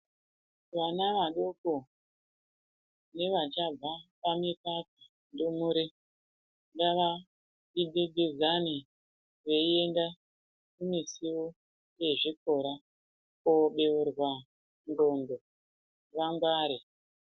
Vana vadoko nevachabva pamikaka ndumurw ngava piti pidzane veienda kumusuwo yezvikora kobeurwa ndxondo kuti vangware.